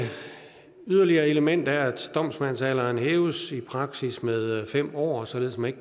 yderligere element er at domsmandsalderen hæves i praksis med fem år således at man